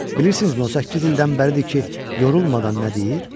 Bilirsinizmi o səkkiz ildən bərədidir ki, yorulmadan nə deyir?